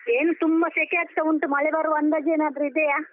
ಏನ್ ತುಂಬಾ ಶೆಕೆ ಆಗ್ತಾ ಉಂಟು, ಮಳೆ ಬರುವ ಅಂದಾಜೇನಾದ್ರೂ ಇದೆಯಾ?